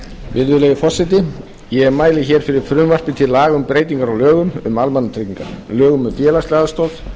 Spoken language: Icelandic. virðulegi forseti ég mæli fyrir frumvarpi til laga um breytingar á lögum um almannatryggingar lögum um félagslega aðstoð